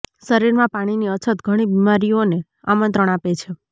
શરીરમાં પાણીની અછત ઘણી બીમારીઓને આમંત્રણ આપે છે